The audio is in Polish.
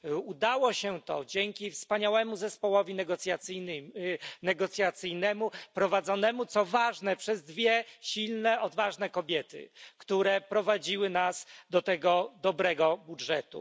Udało się to dzięki wspaniałemu zespołowi negocjacyjnemu prowadzonemu, co ważne, przez dwie silne odważne kobiety, które prowadziły nas do tego dobrego budżetu.